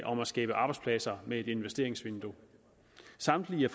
om at skabe arbejdspladser med et investeringsvindue samtlige